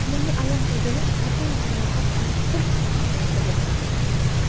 Menga alam qilgani, otam jarohat olib bir ahvolda yotibdi.